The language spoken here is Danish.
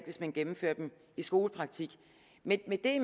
hvis man gennemfører den i skolepraktik med det